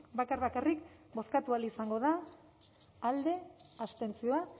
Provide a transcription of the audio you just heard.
bakar bakarrik bozkatu ahal izango da alde abstentzioa